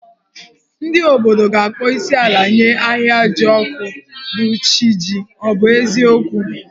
Ndị obodo ga-akpọ isiala nye Ahịajọkụ, bụ́ chi jì, ọ bụ eziokwu?